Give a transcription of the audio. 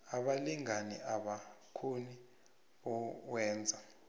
abalingani abakhona bowenza